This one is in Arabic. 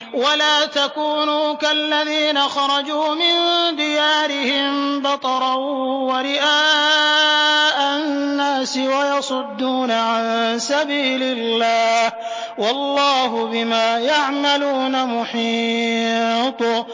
وَلَا تَكُونُوا كَالَّذِينَ خَرَجُوا مِن دِيَارِهِم بَطَرًا وَرِئَاءَ النَّاسِ وَيَصُدُّونَ عَن سَبِيلِ اللَّهِ ۚ وَاللَّهُ بِمَا يَعْمَلُونَ مُحِيطٌ